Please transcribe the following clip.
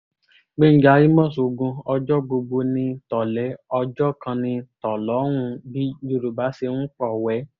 gbẹ̀ngà àmos ogun ọjọ́ gbogbo ní tò̩lé̩ ọjọ́ kan ní tò̩ló̩hún bí yorùbá ṣe ń pò̩wé̩